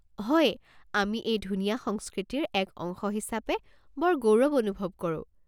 হয়, আমি এই ধুনীয়া সংস্কৃতিৰ এক অংশ হিচাপে বৰ গৌৰৱ অনুভৱ কৰোঁ।